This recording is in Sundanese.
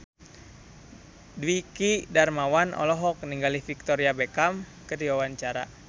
Dwiki Darmawan olohok ningali Victoria Beckham keur diwawancara